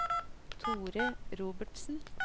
Thore Robertsen